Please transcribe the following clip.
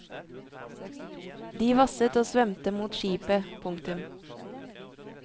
De vasset og svømte mot skipet. punktum